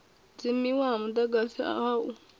dzimiwa ha mudagasi ha u